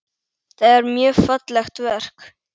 Það er mjög fallegt verk.